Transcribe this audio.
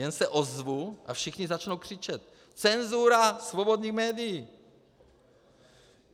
Jen se ozvu, a všichni začnou křičet: Cenzura svobodným médiím!